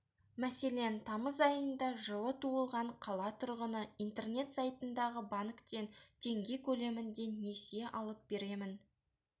мәселен тамыз айында жылы туылған қала тұрғыны интернет сайтындағы банктен теңге көлемінде несие алып беремін